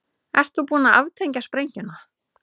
Ert þú búin að aftengja sprengjuna?